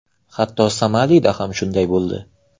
Hatto Somalida ham shunday bo‘ldi.